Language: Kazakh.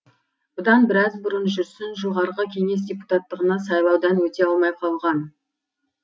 бұдан біраз бұрын жүрсін жоғарғы кеңес депутаттығына сайлаудан өте алмай қалған